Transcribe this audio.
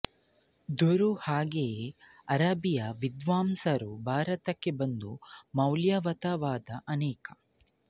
ದ್ದರು ಹಾಗೆಯೇ ಅರಬ್ಬೀ ವಿದ್ವಾಂಸರೂ ಭಾರತಕ್ಕೆ ಬಂದು ಮೌಲ್ಯಯುತವಾದ ಅನೇಕ